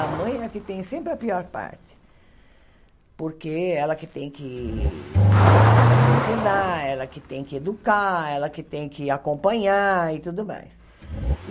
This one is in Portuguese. A mãe é a que tem sempre a pior parte, porque é ela que tem que ensinar, ela que tem que educar, ela que tem que acompanhar e tudo mais.